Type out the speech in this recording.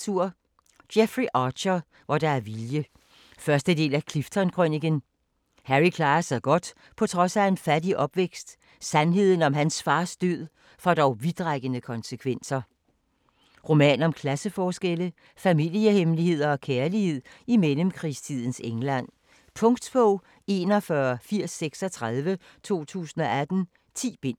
Archer, Jeffrey: Hvor der er vilje 1. del af Clifton-krøniken. Harry klarer sig godt på trods af en fattig opvækst. Sandheden om hans fars død, får dog vidtrækkende konsekvenser. Roman om klasseforskelle, familiehemmeligheder og kærlighed i mellemkrigstidens England. Punktbog 418036 2018. 10 bind.